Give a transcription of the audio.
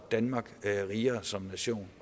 danmark rigere som nation